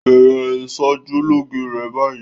Bẹ̀rẹ̀ ìṣojúlóge rẹ báyìí!